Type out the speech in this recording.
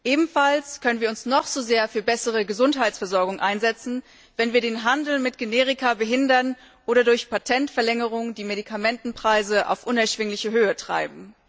Ebenfalls können wir uns noch so sehr für bessere Gesundheitsversorgung einsetzen, wenn wir den Handel mit Generika behindern oder durch Patentverlängerungen die Medikamentenpreise in unerschwingliche Höhen treiben.